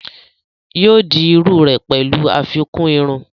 yóò di iru rẹ̀ pẹ̀lú àfikún irun